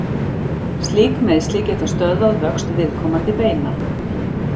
Slík meiðsli geta stöðvað vöxt viðkomandi beina.